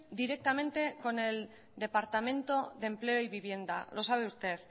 directamente con el departamento de empleo y vivienda lo sabe usted